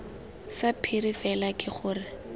sa phiri fela ke gore